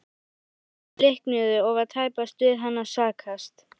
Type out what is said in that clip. Þær vonir bliknuðu og var tæpast við hann að sakast.